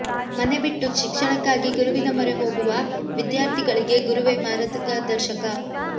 ಮನೆ ಬಿಟ್ಟು ಶಿಕ್ಷಣಕ್ಕಾಗಿ ಗುರುವಿನ ಮೊರೆ ಹೋಗುವ ವಿದ್ಯಾರ್ಥಿಗಳಿಗೆ ಗುರುವೇ ಮಾರ್ಗದರ್ಶಕ